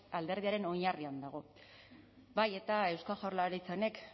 alderdiaren oinarrian dago bai eta eusko jaurlaritza honek